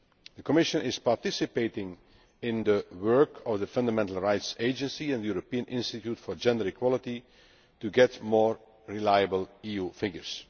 The Commission is participating in the work of the Fundamental Rights Agency and the European Institute for Gender Equality to get more reliable EU figures.